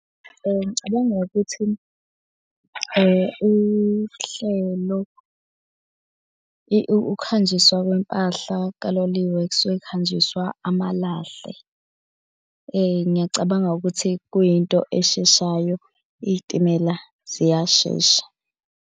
Ngicabanga ukuthi uhlelo ukuhanjiswa kwempahla kaloliwe kusuke kuhanjiswa amalahle. Ngiyacabanga ukuthi kuyinto esheshayo iy'timela ziyashesha.